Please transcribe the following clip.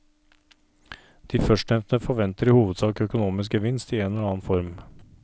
De førstnevnte forventer i hovedsak økonomisk gevinst i en eller annen form.